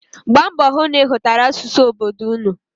Gbaa mbọ hụ na ị mụtara asụsụ obodo ụnụ.